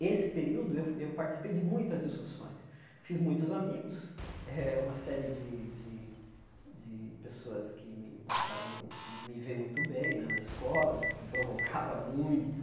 Esse período, eu eu participei de muitas discussões, fiz muitos amigos, eh uma série de de de pessoas que me passaram a a não me ver muito bem né na escola, porque eu provocava muito.